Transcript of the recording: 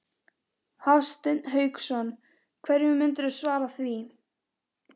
Hafsteinn Hauksson: Hverju myndirðu svara því?